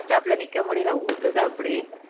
bus stop ல நிக்க முடியல ஊத்துது அப்படி